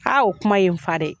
Ha o kuma ye n fa dɛ